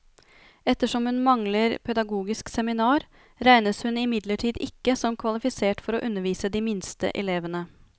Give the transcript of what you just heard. Ettersom hun mangler pedagogisk seminar, regnes hun imidlertid ikke som kvalifisert for å undervise de minste elevene.